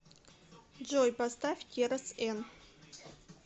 джой поставь керос эн